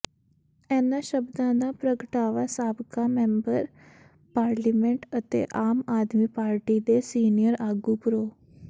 ਇਨ੍ਹਾਂ ਸ਼ਬਦਾਂ ਦਾ ਪ੍ਰਗਟਾਵਾ ਸਾਬਕਾ ਮੈਂਬਰ ਪਾਰਲੀਮੈਂਟ ਅਤੇ ਆਮ ਆਦਮੀ ਪਾਰਟੀ ਦੇ ਸੀਨੀਅਰ ਆਗੂ ਪ੍ਰੋ